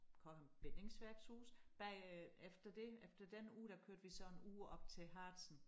Cochem bindingsværkshuse bagefter det efter den uge der kørte vi så en uge op til Harzen